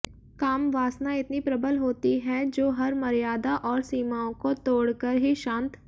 कामवासना इतनी प्रबल होती है जो हर मर्यादा और सीमाओं को तोड़ कर ही शांत